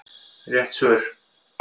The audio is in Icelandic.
Rétt svör